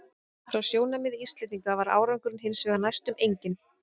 Frá sjónarmiði Íslendinga var árangurinn hins vegar næstum enginn.